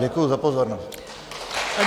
Děkuji za pozornost.